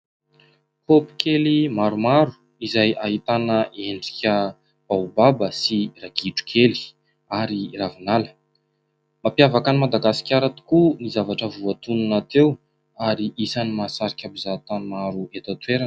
Kopy kely maromaro izay ahitana endrika baobaba sy ragidro kely ary ravinala. Mampiavaka an'i Madagasikara tokoa ny zavatra voatonona teo ary isan'ny mahasarika mpizahatany maro eto an-toerana.